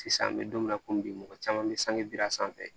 Sisan an bɛ don min na komi bi mɔgɔ caman bɛ sangedira sanfɛ